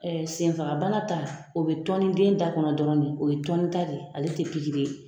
senfagabana ta o bɛ tɔni den da kɔnɔ dɔrɔn de, o ye tɔni ta de, ale tɛ pikiri ye